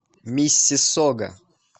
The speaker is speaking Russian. миссиссога